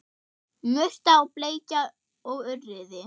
Murta og bleikja og urriði